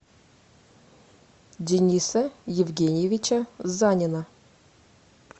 дениса евгеньевича занина